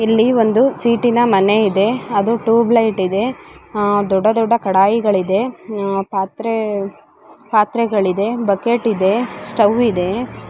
ಇಲ್ಲಿ ಒಂದು ಶೀಟಿನ ಮನೆ ಇದೆ ಅದು ಟ್ಯೂಬೆಲೈಟ್ ಇದೆ ಆ ದೊಡ್ಡದೊಡ್ಡ ಕಡಾಯಿಗಳಿದೆ ಆ ಪಾತ್ರೆ ಪಾತ್ರೆಗಳಿದೆ ಬಕೆಟ್ ಇದೆ ಸ್ಟವ್ ಇದೆ